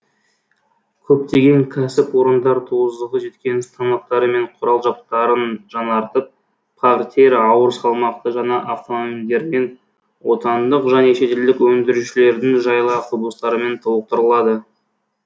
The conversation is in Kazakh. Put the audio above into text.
көптеген кәсіпорындар тозығы жеткен станоктары мен құрал жабдықтарын жаңартып парктер ауырсалмақты жаңа автомобильдермен отандық және шетелдік өндірушілердің жайлы автобустарымен толықтырылады